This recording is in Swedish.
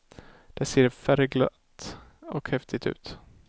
Det ser färgglatt och häftigt ut.